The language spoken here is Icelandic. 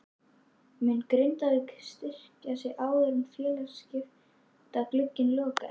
Mun Grindavík styrkja sig áður en félagaskiptaglugginn lokar?